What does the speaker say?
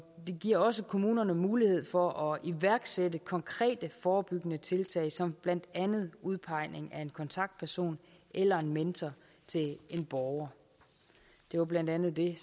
giver også kommunerne mulighed for at iværksætte konkrete forebyggende tiltag som blandt andet udpegning af en kontaktperson eller en mentor til en borger det var blandt andet det